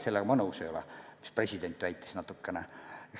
Sellega ma nõus ei ole, mida president väitis natukene.